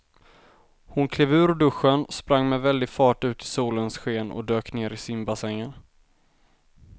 Hon klev ur duschen, sprang med väldig fart ut i solens sken och dök ner i simbassängen.